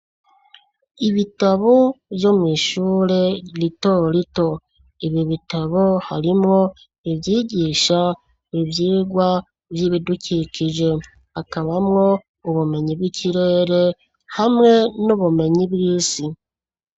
Ibitabo, vyo mw'ishure rito rito, ibi bitabo, harimwo, ivyigisha ivyigwa vy'ibidukikije, hakabamwo, ubumenyi bw'ikirere, hamwe n'ubumenyi bw'isi.